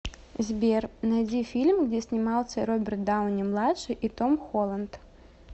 сбер найди фильм где снимался роберт дауни младший и том холланд